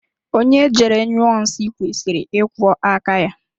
Onye jere nyụọ nsị kwesịrị ịkwọ áká ya.